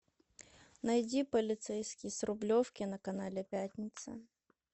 найди полицейский с рублевки на канале пятница